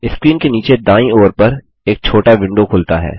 screen के नीचे दायीं ओर पर एक छोटा विंडो खुलता है